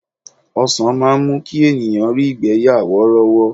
Ọsan máa ń mú kí ènìyàn rí ìgbẹ́ yà worowo.